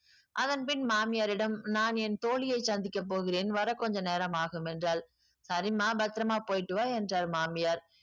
அதன் பின் மாமியாரிடம் நான் என் தோழியை சந்திக்கப் போகிறேன் வர கொஞ்ச நேரம் ஆகும் என்றாள் சரிம்மா பத்திரமா போயிட்டு வா என்றார் மாமியார்